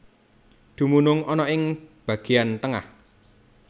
Dumunung ana ing bageyan tengah